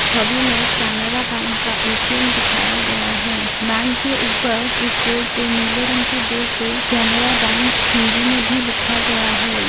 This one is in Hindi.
छवि में एक केनरा बैंक का ए.टी.एम. दिखाया गया है बैंक के ऊपर एक बोर्ड पे नीले रंग के बोर्ड पे केनेरा बैंक हिंदी में भी लिखा गया है।